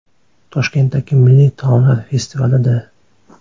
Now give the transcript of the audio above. Toshkentdagi milliy taomlar festivalida.